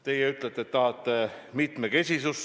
Teie ütlete, et te tahate mitmekesisust.